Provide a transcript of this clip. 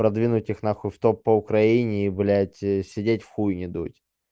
продвинуть их нахуй в топ по украине и блядь сидеть в хуй не дудь